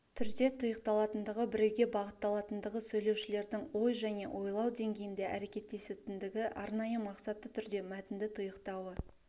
түрде тұйықталатындығы біреуге бағытталатындығы сөйлеушілердің ой және ойлау деңгейінде әрекеттесетіндігі арнайы мақсатты түрде мәтінді тұйықтауы